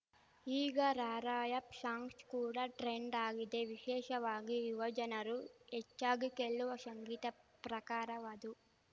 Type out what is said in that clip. ಈಗ rap songs ಕೂಡ trend ಆಗಿದೆ ವಿಶೇಷವಾಗಿ ಯುವ ಜನರು ಹೆಚ್ಚಾಗಿ ಕೇಳುವ ಶಂಗೀತ ಪ್ರಕಾರವದು